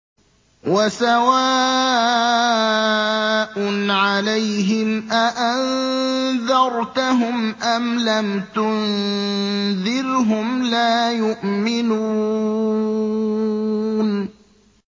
وَسَوَاءٌ عَلَيْهِمْ أَأَنذَرْتَهُمْ أَمْ لَمْ تُنذِرْهُمْ لَا يُؤْمِنُونَ